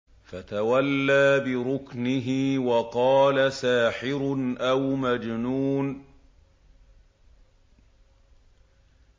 فَتَوَلَّىٰ بِرُكْنِهِ وَقَالَ سَاحِرٌ أَوْ مَجْنُونٌ